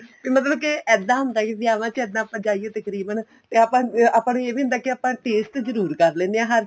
ਮਤਲਬ ਕੇ ਇੱਦਾਂ ਹੁੰਦਾ ਏ ਵਿਆਵਾਂ ਚ ਇੱਦਾ ਆਪਾਂ ਜਾਈਏ ਤਕਰੀਬਨ ਤੇ ਆਪਾਂ ਆਪਾਂ ਨੂੰ ਇਹ ਵੀ ਹੁੰਦਾ ਆਪਾਂ taste ਜਰੂਰ ਕਰ ਲੈਣੇ ਹਰ ਚੀਜ਼